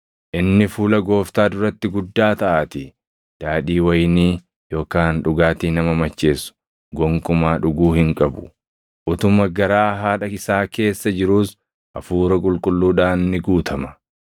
inni fuula Gooftaa duratti guddaa taʼaatii. Daadhii wayinii yookaan dhugaatii nama macheessu gonkumaa dhuguu hin qabu; + 1:15 Kun dirqama addaa kan namni kakuu Naazirummaa of irraa qabu tokko guutuu qabuu dha. utuma garaa haadha isaa keessa jiruus Hafuura Qulqulluudhaan ni guutama.